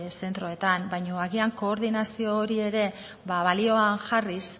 zentroetan baina agian koordinazio hori ere balioan jarriz